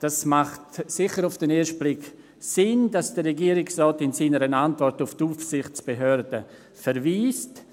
Es macht auf den ersten Blick sicher Sinn, dass der Regierungsrat in seiner Antwort auf die Aufsichtsbehörden verweist.